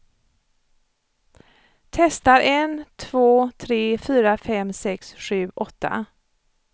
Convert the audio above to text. Testar en två tre fyra fem sex sju åtta.